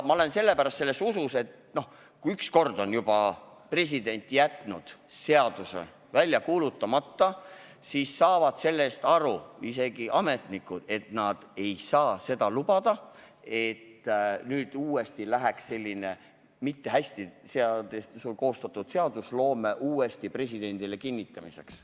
Ma usun, et kui president on juba ühe korra jätnud seaduse välja kuulutamata, siis saavad ka ametnikud aru, et nad ei saa lubada, et selline mitte hästi koostatud seadus läheks uuesti presidendile kinnitamiseks.